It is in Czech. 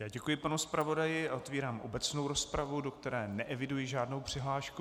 Já děkuji pane zpravodaji, a otevírám obecnou rozpravu, do které neeviduji žádnou přihlášku.